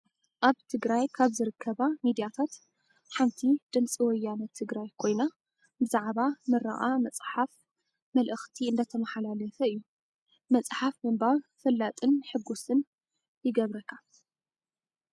ኣብ ትግራይ ካብ ዝርከባ ሚዳታት ሓንቲ ድምፂ ወያኔ ትግራይ ኮይና ፣ ብዛዕባ ምርቓ መፅሓፍ መልእክቲ እንዳተማሓላለፈ እዩ። መፅሓፍ ምንባብ ፈላጥን ሕጉስን ይገብረካ።